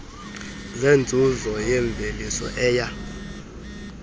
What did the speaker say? zenzuzo yemvelisa eya